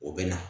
O bɛ na